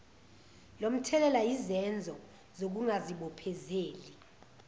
lomthelela yisenzo sokungazibophezeli